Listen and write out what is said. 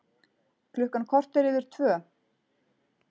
Klukkan korter yfir tvö